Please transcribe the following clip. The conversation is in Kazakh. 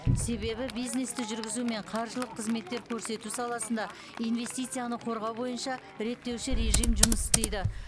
себебі бизнесті жүргізу мен қаржылық қызметтер көрсету саласында инвестицияны қорғау бойынша реттеуші режим жұмыс істейді